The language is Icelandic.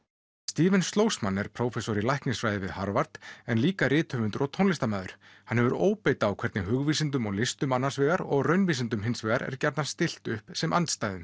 Schlossman er prófessor í læknisfræði við Harvard en líka rithöfundur og tónlistarmaður hann hefur óbeit á hvernig hugvísindum og listum annars vegar og raunvísindum hins vegar er gjarnan stillt upp sem andstæðum